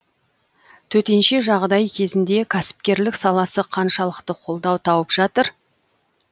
төтенше жағдай кезінде кәсіпкерлік саласы қаншалықты қолдау тауып жатыр